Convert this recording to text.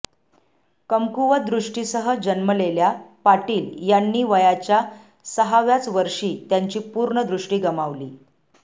कमकुवत दृष्टीसह जन्मलेल्या पाटील यांनी वयाच्या सहाव्याच वर्षी त्यांची पूर्ण दृष्टी गमावली